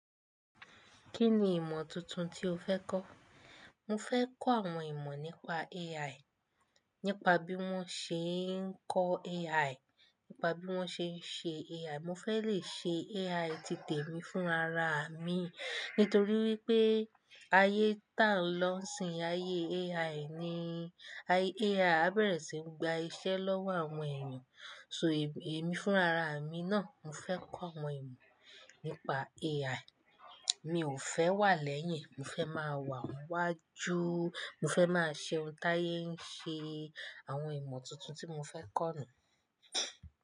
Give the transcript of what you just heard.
Kí ni ìmọ̀ tuntun tí o fẹ́ kọ́? Mo fẹ́ kọ́ àwọn ìmọ̀ nípa AI. Nípa bí wọ́n ṣe ń kọ́ AI, nípa bí wọ́n ṣe ń ṣe AI. Mo fẹ́ le ṣe AI titẹ̀ mi fúnra ra mi. Nítorí wípé ayé tá n lọ isìn ayé AI ni, AI á bẹ̀rẹ̀ sí ní gba iṣẹ́ lọ́wọ́ àwọn èèyàn. So, èmi fúnra ra mi náà, mo fẹ́ kọ́ àwọn ìmọ̀ nípa AI. Mi ò fẹ́ wà lẹ́yìn, mo fẹ́ máa wà n wájú, mo fẹ́ máa ṣe ohun táyé ń ṣe. Àwọn ìmọ̀ tuntun tí mo fẹ́ kọ́ nu.